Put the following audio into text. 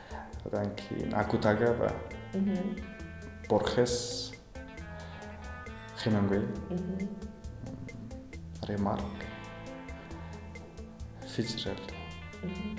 одан кейін акутагава мхм борхес хемингуэй мхм ыыы ремарк